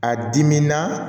A diminaa